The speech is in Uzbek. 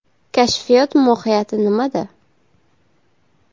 Kashfiyot mohiyati nimada ?